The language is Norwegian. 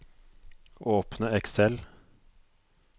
Åpne Excel